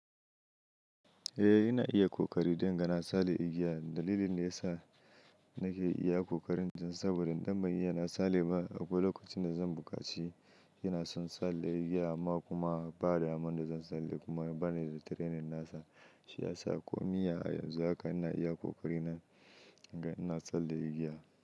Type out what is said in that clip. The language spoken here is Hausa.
Eh, ina iya kokari don ga na tsalle igiya. Dalilin da ya sa nake iya kokarin jan saboda idan ban iya na tsalle ba, akwai lokacin da zan bukaci. Yana son tsalle igiya amma kuma ba da damma da zan tsalle kuma bani da training nasa. Shi ya sa komi ya yanzu haka ina iya kokari na in ga ina tsalle igiya.